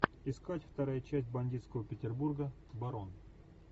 искать вторая часть бандитского петербурга барон